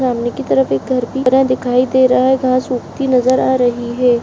सामने की तरफ एक घर भी बना दिखाई दे रहा है घास उगती नजर आ रही है।